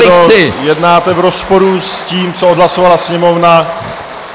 Pane předsedo, jednáte v rozporu s tím, co odhlasovala Sněmovna.